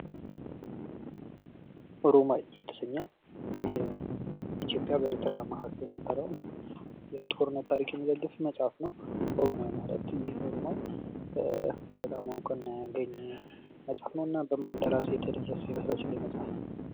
ኦሮማይ የተሰኘው በኢትዮጵያ እና በኤርትራ መካከል የነበረውን የጦርነት ታሪክ የሚዘግብ መጽሃፍ ነው። ኦሮማይ ማለት በጣም ይህ ኣሮማይ እውቅና ያገኘ መጽሐፍ ነው። እና በማን ደራሲ የተደረሰ ይመስላችኋል ይህ መጽሐፍ?